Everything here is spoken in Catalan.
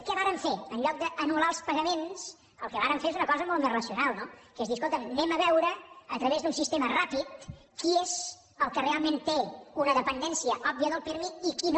què vàrem fer en lloc d’anul·lar els pagaments el que vàrem fer és una cosa molt més racional no que és dir escolta’m anem a veure a través d’un sistema ràpid qui és el que realment té una dependència òbvia del pirmi i qui no